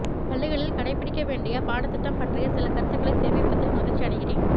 பள்ளிகளில்கடைப்பிடிக்க வேண்டிய பாடத் திட்டம் பற்றிய சில கருத்துகளை தெரிவிப்பதில் மகிழ்ச்சி அடைகிறேன்